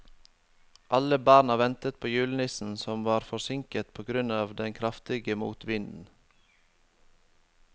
Alle barna ventet på julenissen, som var forsinket på grunn av den kraftige motvinden.